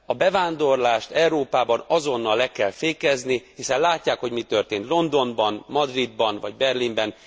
A bevándorlást Európában azonnal le kell fékezni, hiszen látják, hogy mi történt Londonban, Madridban vagy Berlinben.